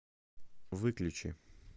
выключи